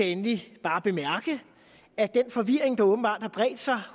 endelig bare bemærke at den forvirring der åbenbart har bredt sig